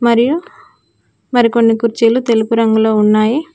మరియు మరికొన్ని కుర్చీలు తెలుపు రంగులో ఉన్నాయి.